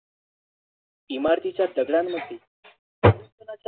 इमारतींच्या दगडांमध्ये